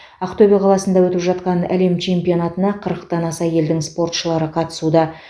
ақтөбе қаласында өтіп жатқан әлем чемпионатына қырықтан аса елдің спортшылары қатысуда